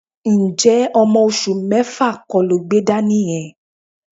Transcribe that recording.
Ǹjẹ́ ọmọ oṣù mẹ́fà kọ́ lo gbé dání yẹn?